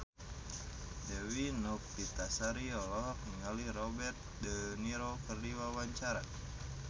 Dewi Novitasari olohok ningali Robert de Niro keur diwawancara